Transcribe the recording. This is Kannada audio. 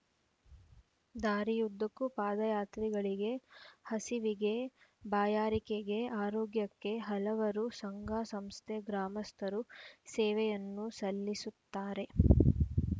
ದಾರಿಯುದ್ದಕ್ಕೂ ಪಾದಯಾತ್ರಿಗಳಿಗೆ ಹಸಿವಿಗೆ ಬಾಯಾರಿಕೆಗೆ ಆರೋಗ್ಯಕ್ಕೆ ಹಲವರು ಸಂಘಸಂಸ್ಥೆ ಗ್ರಾಮಸ್ಥರು ಸೇವೆಯನ್ನು ಸಲ್ಲಿಸುತ್ತಾರೆ